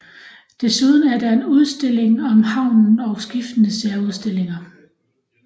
Desuden er der en udstilling om havnen og skiftende særudstillinger